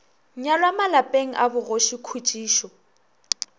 nyalwa malapeng a bogoši khutšišo